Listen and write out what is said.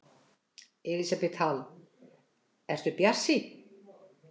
Elísabet Hall: Ertu bjartsýnn?